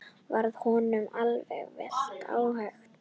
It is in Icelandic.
Varð honum því vel ágengt.